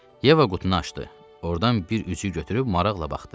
Yeva qutunu açdı, ordan bir üzüyü götürüb maraqla baxdı.